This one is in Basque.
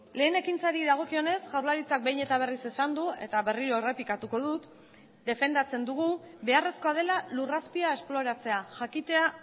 lehen ekintzari dagokionez jaurlaritzak behin eta berriz esan du eta berriro errepikatuko dut defendatzen dugu beharrezkoa dela lur azpia esploratzea jakitea